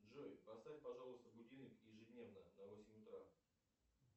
джой поставь пожалуйста будильник ежедневно на восемь утра